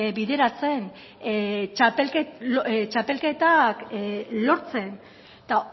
bideratzen txapelketak lortzen eta